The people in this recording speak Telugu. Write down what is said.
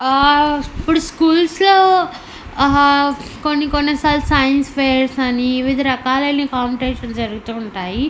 ఆ ఇప్పుడు స్కూల్స్ లో ఆ కొన్ని కొన్ని సార్లు సైన్స్ ఫెయిర్స్ అని వివిధ రకాలైన కంపిటిషన్స్ జరుగుతూ ఉంటాయి.